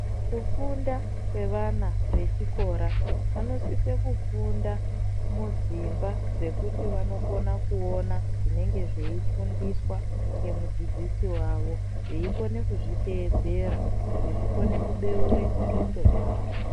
Kufunda kwevana vechikora vanosise kufunda mudzimba dzekuti vanokone kuona zvinenge zveifundiswa nemudzidzisi wavo veikone kuzviteedzera kuti zvikone kubeure ndxondo dzavo.